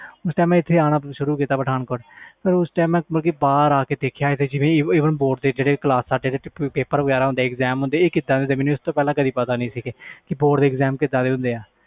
ਫਿਰ ਪਠਾਨਕੋਟ ਆਣਾ ਸ਼ੁਰੂ ਕੀਤਾ ਫਿਰ ਪਤਾ ਲਗਾ ਬੋਰਡ ਦੇ ਪੇਪਰ ਕਿਵੇਂ ਹੁੰਦੇ ਆ ਪਹਲੇ ਇਹਦੇ ਬਾਰੇ ਪਤਾ ਨਹੀਂ ਸੀ